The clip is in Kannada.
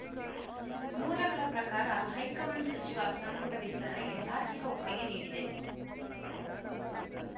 ಮೂಲಗಳ ಪ್ರಕಾರ ಹೈಕಮಾಂಡ್‌ ಸಚಿವ ಸಂಪುಟ ವಿಸ್ತರಣೆಗೆ ತಾತ್ವಿಕ ಒಪ್ಪಿಗೆ ನೀಡಿದೆ